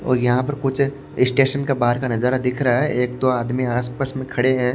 और यहां पर कुछ अ स्टेशन का बाहर का नजारा दिख रहा है एक दो आदमी आसपास में खड़े हैं।